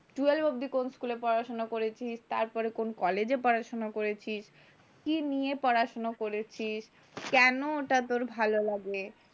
Twelve অব্দি কোন স্কুলে পড়াশোনা করেছিস। তার পরে কোন কলেজে পড়াশোনা করেছিস। কি নিয়ে পড়াশোনা করেছিস। কেন ওটা তোর ভালো লাগে।